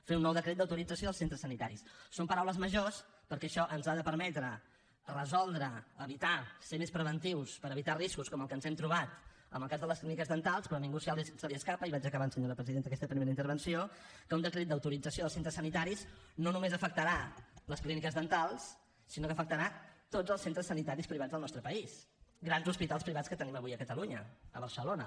fer un nou decret d’autorització dels centres sanitaris són paraules majors perquè això ens ha de permetre resoldre evitar ser més preventius per evitar riscos com el que ens hem trobat en el cas de les clíniques dentals però a ningú se li escapa i vaig acabant senyora presidenta aquesta primera intervenció que un decret d’autorització dels centres sanitaris no només afectarà les clíniques dentals sinó que afectarà tots els centres sanitaris privats del nostre país grans hospitals privats que tenim avui a catalunya a barcelona